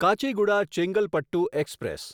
Kacheguda Chengalpattu express